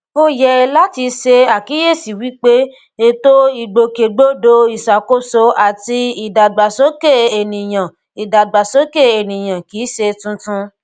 ó yẹ láti ṣe àkíyèsíi wípé ètò ìgbòkègbodò ìṣàkóso àti ìdàgbàsókè ẹnìyàn ìdàgbàsókè ẹnìyàn kìí ṣe tuntun